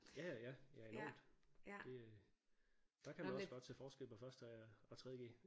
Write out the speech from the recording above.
Ja ja ja ja enormt det der kan man også godt se forskel på første og og tredje G